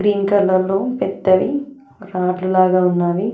Green colour లో పెద్దవి రాడ్లు లాగా ఉన్నావి.